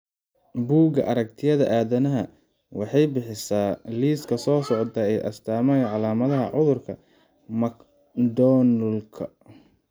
Buugga Aragtiyaha Aadanaha waxay bixisaa liiska soo socda ee astamaha iyo calaamadaha cudurka McDonoughka.